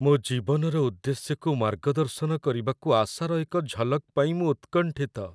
ମୋ ଜୀବନର ଉଦ୍ଦେଶ୍ୟକୁ ମାର୍ଗଦର୍ଶନ କରିବାକୁ ଆଶାର ଏକ ଝଲକ୍ ପାଇଁ ମୁଁ ଉତ୍କଣ୍ଠିତ।